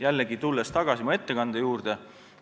Jällegi, tulen tagasi oma ettekande juurde.